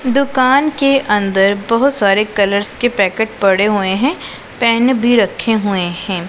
दुकान के अंदर बहुत सारे कलर्स के पैकेट पड़े हुए हैं पेन भी रखे हुए हैं।